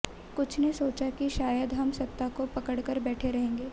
कुछ ने सोचा कि शायद हम सत्ता को पकड़ कर बैठे रहेंगे